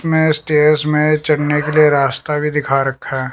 मैं स्टेयर्स में चढ़ने के लिए रास्ता भी दिखा रखा--